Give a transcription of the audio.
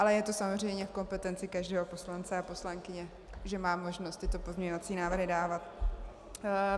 Ale je to samozřejmě v kompetenci každého poslance a poslankyně, že má možnost tyto pozměňovací návrhy dávat.